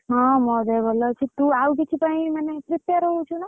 ହଁ ମୋ ଦେହ ଭଲ ଅଛି ତୁ ଆଉ କିଛି ପାଇଁ ମାନେ prepare ହଉଚ୍ଚୁ ନା?